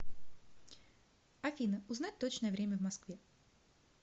афина узнать точное время в москве